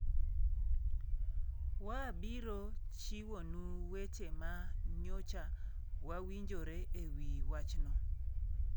Waabiro chiwonu weche ma nyocha wawinjore e wi wachno,